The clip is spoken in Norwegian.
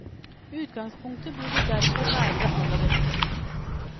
Utgangspunktet burde derfor være det aller beste.